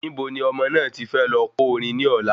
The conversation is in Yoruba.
Ibo ni ọmọ náà ti fẹ́ lọ ko orin ni ọ̀la?